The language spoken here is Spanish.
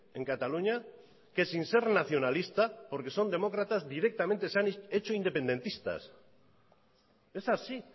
en cataluña que sin ser nacionalista porque son demócratas directamente se han hecho independentistas es así